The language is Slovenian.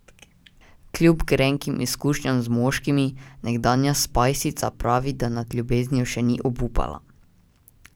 Kljub grenkim izkušnjam z moškimi, nekdanja spajsica pravi, da nad ljubeznijo še ni obupala.